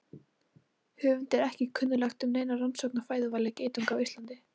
Höfundi er ekki kunnugt um neina rannsókn á fæðuvali geitunga á Íslandi.